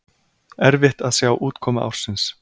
Erfitt að sjá útkomu ársins